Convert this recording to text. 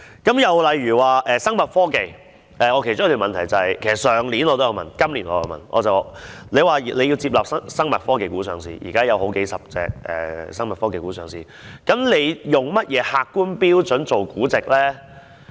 又例如聲稱是生物科技股，我其中一項質詢就是——我去年也有提問，今年也有問——當局表示要接納生物科技股上市，現時也有數十種生物科技股上了市，究竟它以甚麼客觀標準來估值呢？